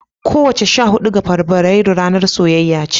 kowace sha hudu ga Fabrairu ranar soyayya ce.